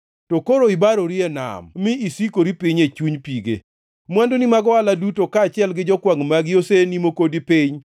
To koro ibarori e nam mi isikori piny e chuny pige; mwanduni mag ohala duto kaachiel gi jokwangʼ magi osenimo kodi piny.